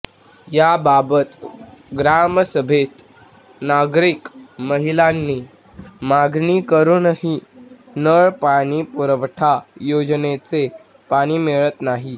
याबाबत ग्रामसभेत नागरिक महिलांनी मागणी करूनही नळ पाणी पुरवठा योजनेचे पाणी मिळत नाही